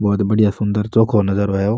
बहुत बढ़िया चोखो नजारो है यो।